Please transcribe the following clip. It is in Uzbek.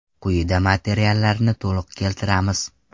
Quyida materialni to‘liq keltiramiz.